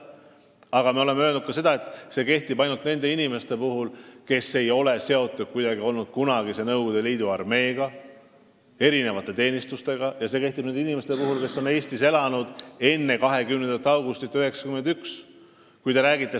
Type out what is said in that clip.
Aga me oleme ka seda öelnud, et see kõik kehtib ainult nende inimeste puhul, kes ei ole olnud kuidagi seotud kunagise Nõukogude Liidu armee ega teenistustega, ja nende inimeste puhul, kes on Eestis elanud enne 20. augustit 1991.